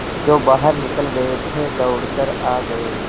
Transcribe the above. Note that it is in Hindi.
जो बाहर निकल गये थे दौड़ कर आ गये